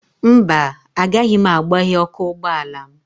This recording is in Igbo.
Mba, agaghị m agbaghe ọkụ ụgbọala m